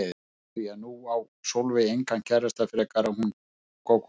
Því að nú á Sólveig engan kærasta frekar en hún Gógó.